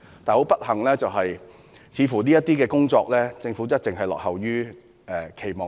很不幸地，政府在這些方面的工作，似乎一直不符期望。